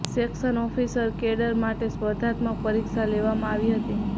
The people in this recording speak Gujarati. સેકશન ઓફિસર કેડર માટે સ્પર્ધાત્મક પરીક્ષા લેવામાં આવી હતી